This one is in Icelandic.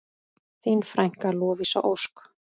Þín frænka, Lovísa Ósk.